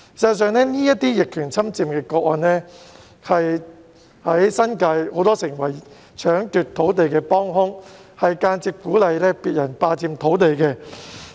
事實上，這些逆權侵佔個案，成為很多人在新界搶奪土地的幫兇，間接鼓勵別人霸佔土地。